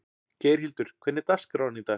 Geirhildur, hvernig er dagskráin í dag?